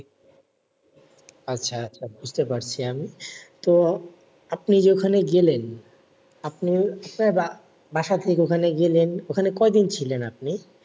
আচ্ছা আচ্ছা বুঝতে পারছি আমি। তো আপনি যে ওখানে গেলেন আপনি হচ্ছে রা, বাসা থেকে ওখানে গেলেন। ওখানে কয় দিন ছিলেন আপনি?